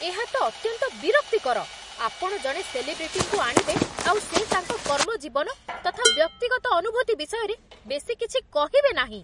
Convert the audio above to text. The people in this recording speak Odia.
ଏହା ତ ଅତ୍ୟନ୍ତ ବିରକ୍ତିକର, ଆପଣ ଜଣେ ସେଲିବ୍ରିଟିଙ୍କୁ ଆଣିବେ ଆଉ ସେ ତାଙ୍କ କର୍ମଜୀବନ ତଥା ବ୍ୟକ୍ତିଗତ ଅନୁଭୂତି ବିଷୟରେ ବେଶୀ କିଛି କହିବେନାହିଁ !